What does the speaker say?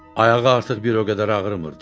Ayağı artıq bir o qədər ağrımırdı.